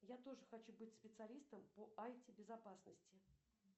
я тоже хочу быть специалистом по ай ти безопасности